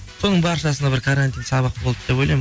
соның баршасына бір карантин сабақ болды деп ойлаймын